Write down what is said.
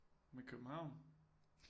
Med København